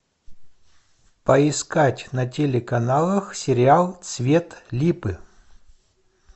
поискать на телеканалах сериал цвет липы